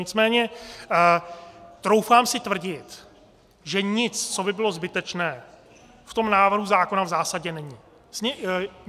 Nicméně troufám si tvrdit, že nic, co by bylo zbytečné, v tom návrhu zákona v zásadě není.